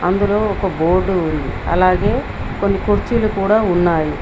ఇందులో ఒక బోర్డు ఉంది అలాగే కొన్ని కుర్చీలు కూడా ఉన్నాయి.